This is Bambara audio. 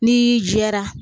N'i jɛra